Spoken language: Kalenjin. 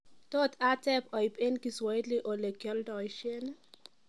tot ateb oib en swahili olekyoldoisien